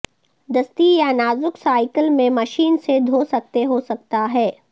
دستی یا نازک سائیکل میں مشین سے دھو سکتے ہو سکتا ہے